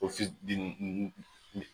Ofisi di ni